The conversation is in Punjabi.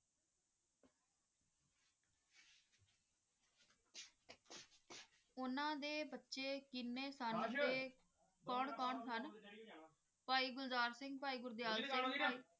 ਉਨ੍ਹਾਂ ਦੇ ਬੱਚੀ ਕਿੰਨੇ ਸਨ ਤ ਕੌਣ ਕੌਣ ਸਨ ਭਾਈ ਗੁਲਜ਼ਾਰ ਸਿੰਘ ਭਾਈ ਗੁਲਦੀਆਰ ਸਿੰਘ ਭਾਈ